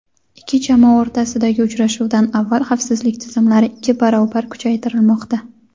ikki jamoa o‘rtasidagi uchrashuvdan avval xavfsizlik tizimlari ikki barobar kuchaytirilmoqda.